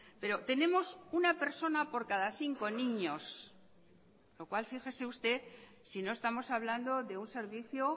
pero tenemos una persona por cada cinco niños lo cual fíjese usted si no estamos hablando de un servicio